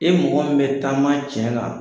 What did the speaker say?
E mɔgɔ min bɛ taama tiɲɛ kan